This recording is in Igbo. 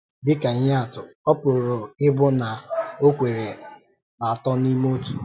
Dị ka ihe atụ, ọ pụrụ ịbụ na ọ kwèrè n’Atọ n’Íme Ọtụ.